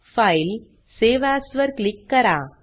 फायलेग्टगट save as वर click करा